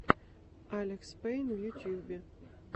алекспэйн в ютьюбе